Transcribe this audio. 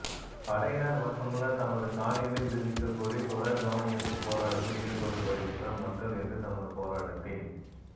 படையினர் வசமுள்ள தமது காணிகளை விடுவிக்க கோரி தொடர் கவனயீர்ப்பு போராட்டத்தில் ஈடுபட்டு வருகின்ற மக்கள் இன்று தமது போராட்டத்தின்